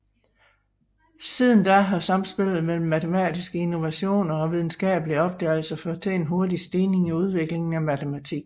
Siden da har samspillet mellem matematiske innovationer og videnskabelige opdagelser ført til en hurtig stigning i udviklingen af matematik